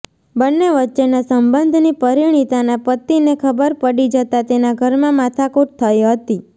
બંને વચ્ચેના સંબંધની પરિણીતાના પતિને ખબર પડી જતા તેના ઘરમાં માથાકૂટ થઈ હતી